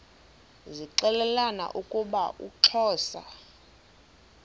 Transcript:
zixelelana ukuba uxhosa